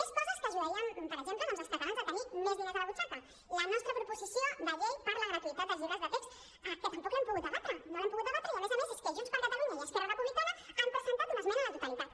més coses que ajudarien per exemple doncs els catalans a tenir més diners a la butxaca la nostra proposició de llei per la gratuïtat dels llibres de text que tampoc l’hem pogut debatre no l’hem pogut debatre i a més a més és que junts per catalunya i esquerra republicana han presentat una esmena a la totalitat